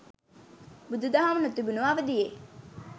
බුදුදහම නොතිබුණු අවධියේ